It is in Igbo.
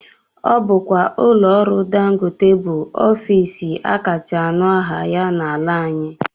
Ọ bụkwa ụlọọrụ dangote bụ ofiisi akacha anụ aha ya n'ala anyị